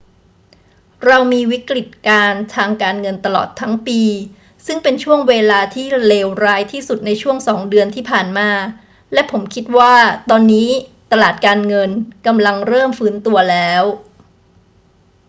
เรามีวิกฤตการณ์ทางการเงินตลอดทั้งปี ซึ่งเป็นช่วงเวลาที่เลวร้ายที่สุดในช่วงสองเดือนที่ผ่านมา และผมคิดว่าตอนนี้ตลาดการเงินกำลังเริ่มฟื้นตัวแล้ว